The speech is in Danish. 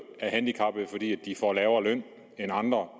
handicappede fordi de får lavere løn end andre